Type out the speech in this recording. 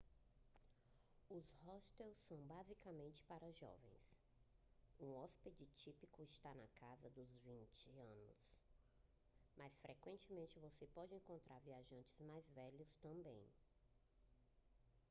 os hostels são basicamente para jovens um hóspede típico está na casa dos 20 anos mas frequentemente você pode encontrar viajantes mais velhos também